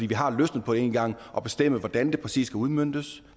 vi har løsnet på det én gang at bestemme hvordan det præcis skal udmøntes